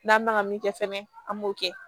N'an bɛ ka min kɛ fɛnɛ an b'o kɛ